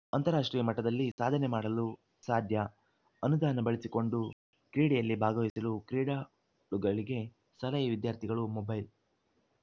ಅಂತಾರಾಷ್ಟ್ರೀಯ ಮಟ್ಟದಲ್ಲಿ ಸಾಧನೆ ಮಾಡಲು ಸಾಧ್ಯ ಅನುದಾನ ಬಳಸಿಕೊಂಡು ಕ್ರೀಡೆಯಲ್ಲಿ ಭಾಗವಹಿಸಲು ಕ್ರೀಡಾಳುಗಳಿಗೆ ಸಲಹೆ ವಿದ್ಯಾರ್ಥಿಗಳು ಮೊಬೈಲ್‌